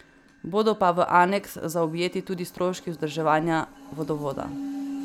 Bodo pa v aneks zaobjeti tudi stroški vzdrževanja vodovoda.